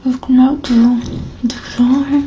गुलाब दिख रहा है.